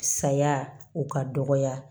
Saya o ka dɔgɔya